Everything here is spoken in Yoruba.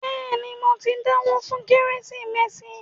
Bẹ́ẹ̀ni, mo ti dáwó fún “ kérésìmesì ”